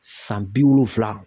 San bi wolonwula